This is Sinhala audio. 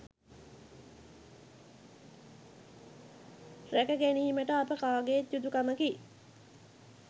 රැක ගැනීමට අප කාගේත් යුතුකමකි